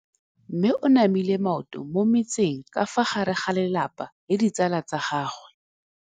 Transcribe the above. Mme o namile maoto mo mmetseng ka fa gare ga lelapa le ditsala tsa gagwe.